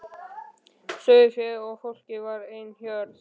Sauðféð og fólkið var ein hjörð.